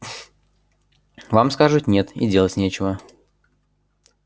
вам скажут нет и делать нечего